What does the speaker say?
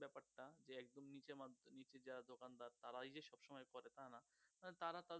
তারা ঐযে সব সময় করে তানা তারা তাদের